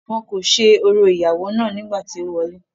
wọn kò ṣe orò ìyàwó náà nígbà tí ó wọlẹ́